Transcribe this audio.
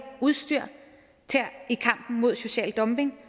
udstyr i kampen mod social dumping